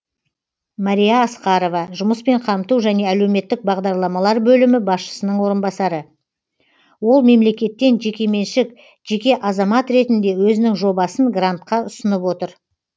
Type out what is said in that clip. мария асқарова жұмыспен қамту және әлеуметтік бағдарламалар бөлімі басшысының орынбасары ол мемлекеттен жекеменшік жеке азамат ретінде өзінің жобасын грантқа ұсынып отыр